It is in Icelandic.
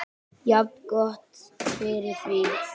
Jafngott fyrir því.